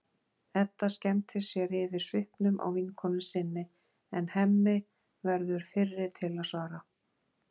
Edda skemmtir sér yfir svipnum á vinkonu sinni en Hemmi verður fyrri til að svara.